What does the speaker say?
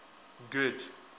good